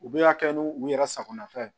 U bɛ ka kɛ ni u yɛrɛ sagonafɛ